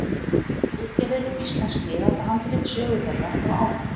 Ritgerðir um íslensk miðaldahandrit, sögu þeirra og áhrif.